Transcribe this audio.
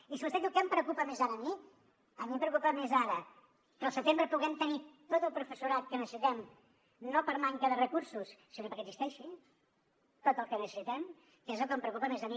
i si vostè em diu què em preocupa més ara a mi a mi em preocupa més ara que al setembre puguem tenir tot el professorat que necessitem no per manca de recursos sinó perquè existeixi tot el que necessitem que és el que em preocupa més a mi